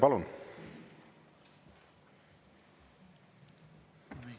Palun!